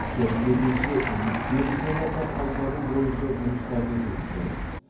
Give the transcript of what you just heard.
сәйкесінше лицензияларды қайтару бойынша жұмыстарды жүргіземіз